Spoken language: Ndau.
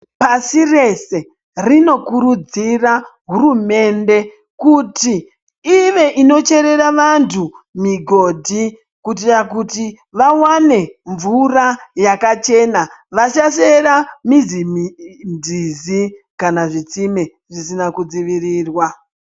Pasi rese rinokurudzira hurumende kuti ive inocherera vantu migodhi. Kuitira kuti vavane mvura yakachena vasachera muzi nzizi kana zvitsime zvisina kudzivirirwa.